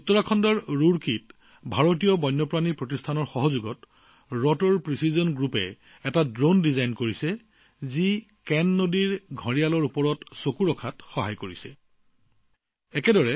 উত্তৰাখণ্ডৰ ৰুৰকীত ভাৰতীয় বন্যপ্ৰাণী প্ৰতিষ্ঠানৰ সহযোগত ৰটাৰ প্ৰিচিজন গ্ৰুপছে কেন নদীৰ ঘৰিয়ালসমূহ নিৰীক্ষণ কৰাত সহায় কৰা ড্ৰোন প্ৰস্তুত কৰিছে